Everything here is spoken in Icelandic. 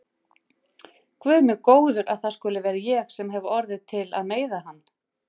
Guð minn góður að það skuli vera ég sem hef orðið til að meiða hann.